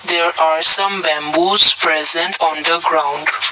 there are some bamboos present on the ground.